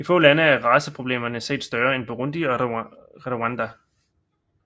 I få lande er raceproblemerne set større end Burundi og Rwanda